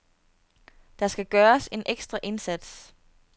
Der skal gøres en ekstra indsats.